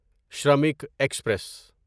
Shramik express